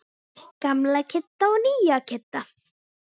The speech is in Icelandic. Gamla Kidda og nýja Kidda.